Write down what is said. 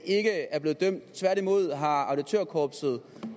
ikke er blevet dømt tværtimod har auditørkorpset